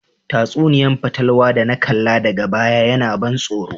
Tatsuniya'n fatalwa da na kalla daga baya yana ban soro.